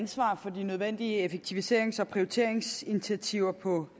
ansvar for de nødvendige effektiviserings og prioriteringsinitiativer på